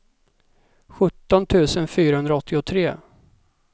sjutton tusen fyrahundraåttiotre